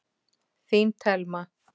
Þín Telma.